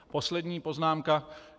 Poslední poznámka.